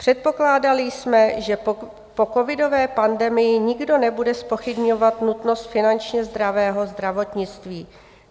Předpokládali jsme, že po covidové pandemii nikdo nebude zpochybňovat nutnost finančně zdravého zdravotnictví.